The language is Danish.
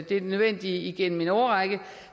det nødvendige igennem en årrække